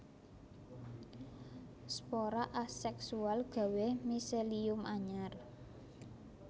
Spora aséksual gawé miselium anyar